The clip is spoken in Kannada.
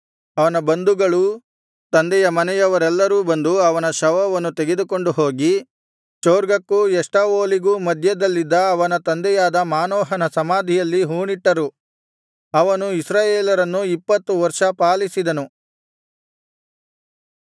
ಅವನ ಬಂಧುಗಳೂ ತಂದೆಯ ಮನೆಯವರೆಲ್ಲರೂ ಬಂದು ಅವನ ಶವವನ್ನು ತೆಗೆದುಕೊಂಡು ಹೋಗಿ ಚೊರ್ಗಕ್ಕೂ ಎಷ್ಟಾವೋಲಿಗೂ ಮಧ್ಯದಲ್ಲಿದ್ದ ಅವನ ತಂದೆಯಾದ ಮಾನೋಹನ ಸಮಾಧಿಯಲ್ಲಿ ಹೂಣಿಟ್ಟರು ಅವನು ಇಸ್ರಾಯೇಲರನ್ನು ಇಪ್ಪತ್ತು ವರ್ಷ ಪಾಲಿಸಿದ್ದನು